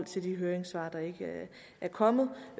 til de høringssvar der ikke er kommet